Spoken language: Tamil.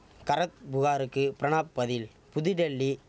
கர புகாருக்கு பிரணாப் பதில் புதுடெல்லி